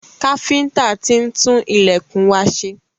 Káfíntà tí ń tun ilẹ̀kùn wa ṣe.